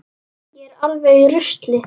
Ég er alveg í rusli.